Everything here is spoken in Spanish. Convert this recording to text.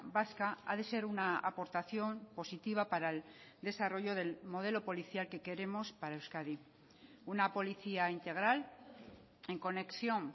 vasca ha de ser una aportación positiva para el desarrollo del modelo policial que queremos para euskadi una policía integral en conexión